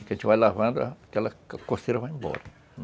Porque a gente vai lavando, aquela coceira vai embora.